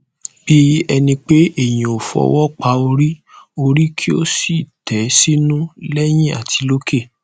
bí ẹni pé èèyàn ó fọwọ pa orí orí kí ó sì tẹ sínú lẹyìn àti lókè